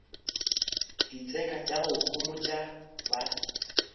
ditseka tša go homotša ba